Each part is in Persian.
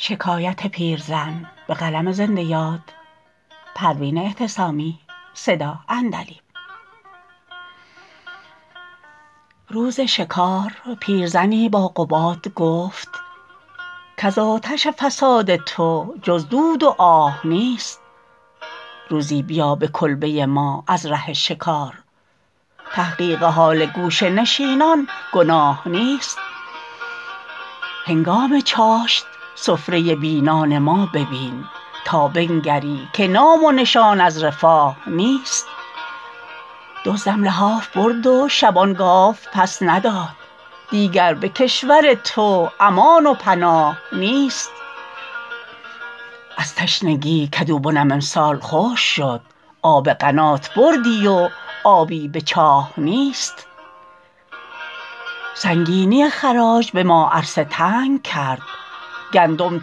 روز شکار پیرزنی با قباد گفت کز آتش فساد تو جز دود و آه نیست روزی بیا به کلبه ما از ره شکار تحقیق حال گوشه نشینان گناه نیست هنگام چاشت سفره بی نان ما ببین تا بنگری که نام و نشان از رفاه نیست دزدم لحاف برد و شبان گاو پس نداد دیگر به کشور تو امان و پناه نیست از تشنگی کدوبنم امسال خشک شد آب قنات بردی و آبی به چاه نیست سنگینی خراج به ما عرصه تنگ کرد گندم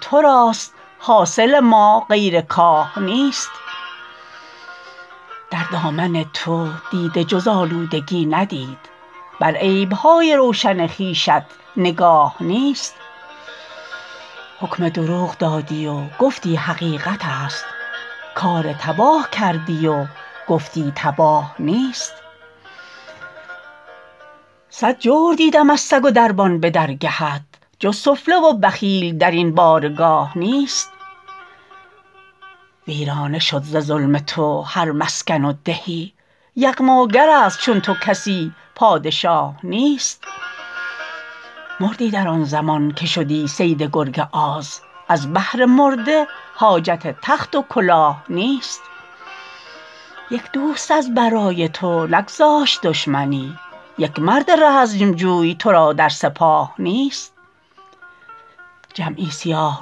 تو راست حاصل ما غیر کاه نیست در دامن تو دیده جز آلودگی ندید بر عیب های روشن خویشت نگاه نیست حکم دروغ دادی و گفتی حقیقت است کار تباه کردی و گفتی تباه نیست صد جور دیدم از سگ و دربان به درگهت جز سفله و بخیل درین بارگاه نیست ویرانه شد ز ظلم تو هر مسکن و دهی یغماگر است چون تو کسی پادشاه نیست مردی در آن زمان که شدی صید گرگ آز از بهر مرده حاجت تخت و کلاه نیست یک دوست از برای تو نگذاشت دشمنی یک مرد رزمجوی تو را در سپاه نیست جمعی سیاه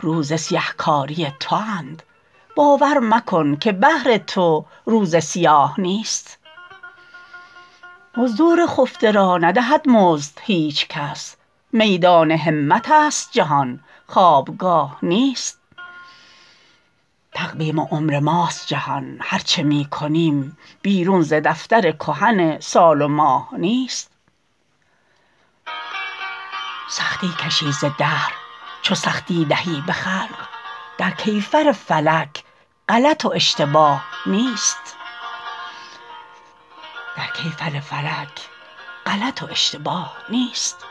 روز سیه کاری تواند باور مکن که بهر تو روز سیاه نیست مزدور خفته را ندهد مزد هیچکس میدان همت است جهان خوابگاه نیست تقویم عمر ماست جهان هر چه می کنیم بیرون ز دفتر کهن سال و ماه نیست سختی کشی ز دهر چو سختی دهی به خلق در کیفر فلک غلط و اشتباه نیست